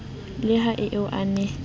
le ha eo a ne